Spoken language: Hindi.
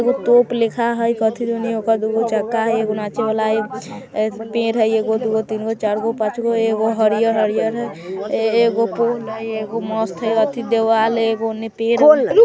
एगो तोप लेखा है कथी दुनी एगो दुगो चक्का हई नाचे वाला हई ए पेड़ हई एगो दुगो तीनगो चरगो पाँचगो एगो हरियर-हरियर हई एगो पोल हई एगो मस्त हई अथि देवाल हई एगो ओन्ने पेड़ हई।